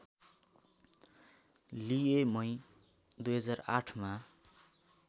लिए मई २००८ मा